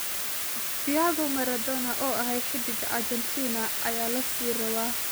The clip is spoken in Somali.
Diago Maradona oo axay hidga Arjantin aya laasirawaa.